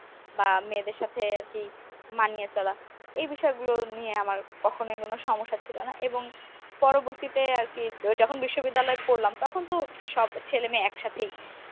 বা মেয়েদের সাথে আর কি মানিয়ে চলা এই বিষয়গুলো নিয়ে আমার কখনো কোন সমস্যাই ছিল না এবং পরবর্তীতে আরকি যখন বিশ্ববিদ্যালয় পরলাম তখন তো সব ছেলেমেয়ে একসাথেই